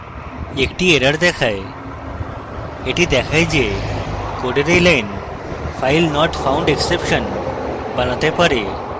একটি error দেখায় এটি দেখায় যে code এই line filenotfoundexception বানাতে পারে